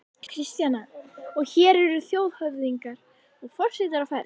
Kristjana: Og hér eru þjóðhöfðingjar og forsetar á ferð?